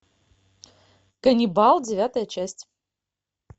каннибал девятая часть